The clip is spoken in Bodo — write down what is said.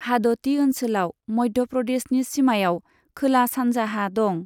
हाद'ती ओनसोलआ मध्य प्रदेशनि सीमायाव खोला सानजाहा दं।